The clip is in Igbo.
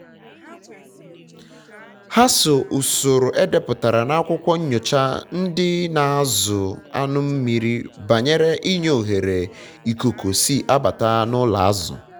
ha so usoro um edeputara na akwụkwọ nyocha ndị na-azụ um anụmmiri banyere inye ohere ikuku si abata na ụlọ azụ